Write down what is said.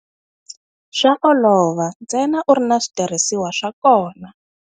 Swa olova ntsena u ri na switirhisiwa swa kona.